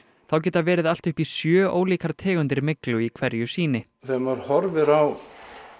þá geta verið allt upp í sjö ólíkar tegundir myglu í hverju sýni þegar maður horfir á